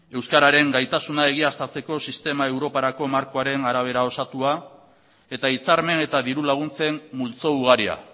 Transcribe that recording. euskararen gaitasuna egiaztatzeko sistema europarako markoaren arabera osatua eta hitzarmen eta diru laguntzen multzo ugaria